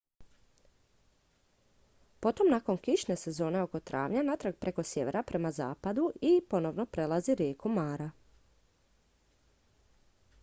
potom nakon kišne sezone oko travnja natrag preko sjevera prema zapadu i ponovno prelazi rijeku mara